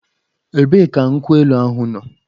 Ebee ka nkwụ elu ahụ nọ?